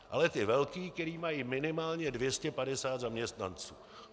Ale ty velké, které mají minimálně 250 zaměstnanců.